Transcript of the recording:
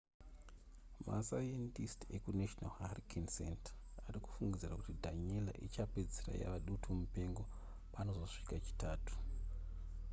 masayendisiti ekunational hurricane center ari kufungidzira kuti danielle ichapedzisira yava dutu mupengo panozosvika chitatu